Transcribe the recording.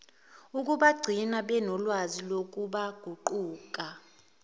ukubagcina benolwazi nokubaguqula